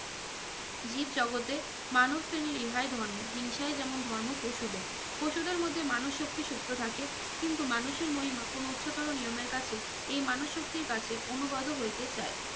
জীব জগতে মানুষ শ্রেনীর ইহাই ধর্ম হিংসাই যেমন ধর্ম পশুদের পশুদের মধ্যে মানুষ শক্তি সুপ্ত থাকে কিন্তু মানুষের মহিমা কোনো উচ্চতর নিয়মের কাছে এ মানুষ শক্তির কাছে অনুগত হইতে চায়